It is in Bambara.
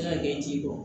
N'a kɛ ji bɔ